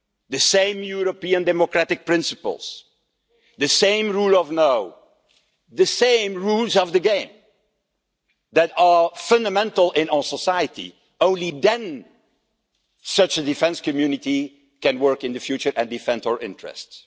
the same European democratic principles, the same rule of law, and the same rules of the game that are fundamental in our society. Only then can such a defence community work in the future and defend our interests.